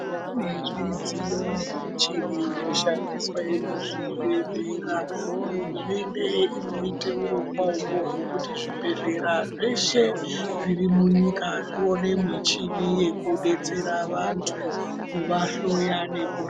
Kune zvidziyo nemichini inoshandiswe muzvibhedhlera. Hurumende inoite hurongwa uhohoho hwekuti zvibhedhlera zveshe zviri munyika zvione michini yekudetsera vantu kuvahloya nekur..